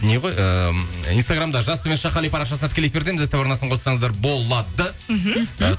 не ғой ыыы инстаграмда жас қали парақшасында тікелей эфирдеміз ств арнасын қоссаңыздар болады мхм